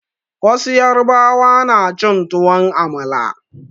Wasu yarbawa na cin tuwon amala.